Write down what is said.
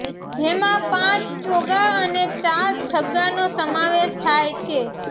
જેમાં પાંચ ચોગ્ગા અને ચાર છગ્ગાનો સમાવેશ થાય છે